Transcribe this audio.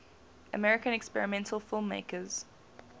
american experimental filmmakers